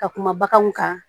Ka kuma baganw kan